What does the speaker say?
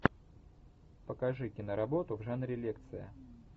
покажи киноработу в жанре лекция